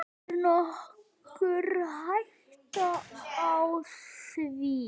Er nokkur hætta á því?